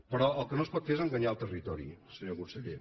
però el que no es pot fer és enganyar el territori senyor conseller